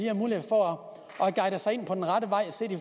har mulighed for at guide sig ind på rette vej